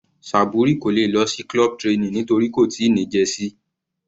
Saburi kò lè lọ sí club training nítorí kò tíì ní jersey.